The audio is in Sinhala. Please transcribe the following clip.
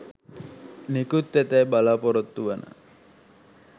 නිකුත්වෙතැයි බලපොරොත්තුවන